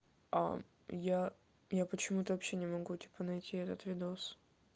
а я я почему-то вообще не могу типа найти этот видос